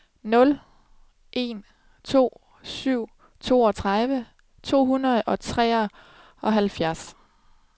nul en to syv toogtredive to hundrede og seksoghalvfjerds